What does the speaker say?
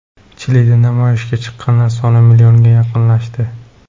Chilida namoyishga chiqqanlar soni millionga yaqinlashdi.